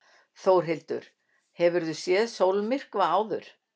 Þórhildur: Hefurðu séð sólmyrkva áður?